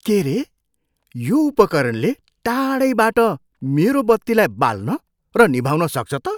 के रे! यो उपकरणले टाढैबाट मेरो बत्तीलाई बाल्न र निभाउन सक्छ त?